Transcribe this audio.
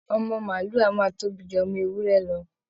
Ọmọ màálù a máa tóbi ju ọmọ ewúrẹ́ lọ